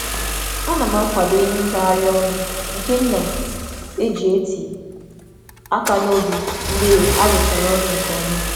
A na m kwadebe nri nta m masịrị m dị ka onyinye um mgbe m rụchara ọrụ nke um ọma.